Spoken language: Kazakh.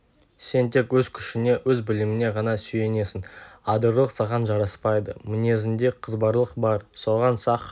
сен тек өз күшіңе өз біліміңе ғана сүйенесің адырлық саған жараспайды мінезіңде қызбалық бар соған сақ